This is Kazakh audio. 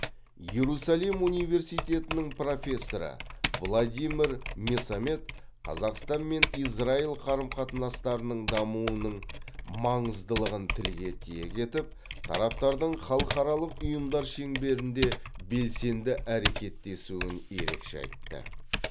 иерусалим университетінің профессоры владимир месамед қазақстан мен израиль қарым қатынастарының дамуының маңыздылығын тілге тиек етіп тараптардың халықаралық ұйымдар шеңберінде белсенді әрекеттесуін ерекше айтты